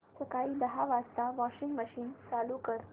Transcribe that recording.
सकाळी दहा वाजता वॉशिंग मशीन चालू कर